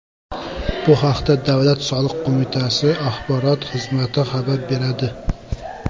Bu haqda Davlat soliq qo‘mitasi axborot xizmati xabar beradi .